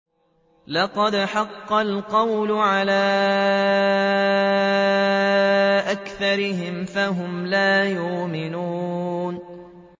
لَقَدْ حَقَّ الْقَوْلُ عَلَىٰ أَكْثَرِهِمْ فَهُمْ لَا يُؤْمِنُونَ